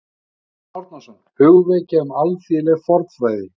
Jón Árnason: Hugvekja um alþýðleg fornfræði